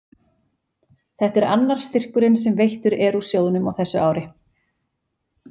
þetta er annar styrkurinn sem veittur er úr sjóðnum á þessu ári